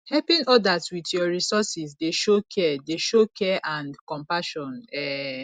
helping odas with yur resources dey show care dey show care and compassion um